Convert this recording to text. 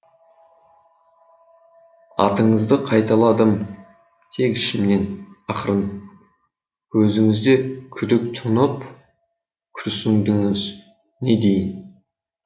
атыңызды қайталадым тек ішімнен ақырын көзіңізде күдік тұнып күрсіндіңіз не дейін